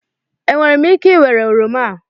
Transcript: Enwere m ike ịwere oroma a?